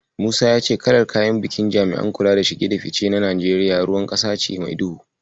Musa ya ce kalar kayan bikin jami'an kula da shige da ficen Najeriya ruwan ƙasa ce mai duhu.